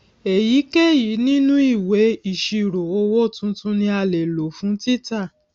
èyíkéyìí nínú ìwé ìṣirò owó tuntun ni a lè lò fún títà